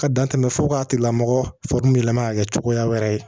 Ka dan tɛmɛ fo ka tigilamɔgɔ lama ka kɛ cogoya wɛrɛ ye